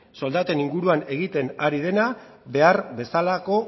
soldaten inguruan egiten ari dena behar bezalako